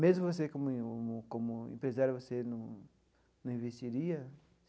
Mesmo você como um como empresário, você num num investiria?